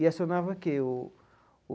E acionava o quê o?